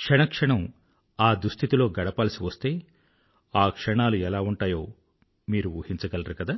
క్షణ క్షణం ఆ దుస్థితిలో గడపాల్సి వస్తే ఆ క్షణాలు ఎలా ఉంటాయో మీరు ఊహించగలరు కదా